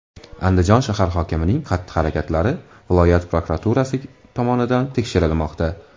Andijon shahar hokimining xatti-harakatlari viloyat prokuraturasi tomonidan tekshirilmoqda.